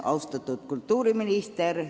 Austatud kultuuriminister!